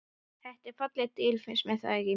Þetta eru falleg dýr, finnst þér ekki?